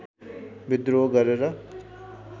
विद्रोह गरेर